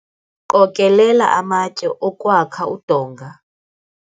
qokelela amatye okwakha udonga